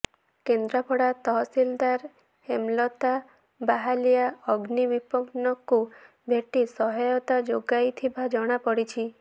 କେନ୍ଦ୍ରାପଡ଼ା ତହସିଲଦାର ହେମଲତା ବାହାଲିଆ ଅଗ୍ନିବିପନ୍ନଙ୍କୁ ଭେଟି ସହାୟତା ଯୋଗାଇ ଥିବା ଜଣାପଡ଼ିଛି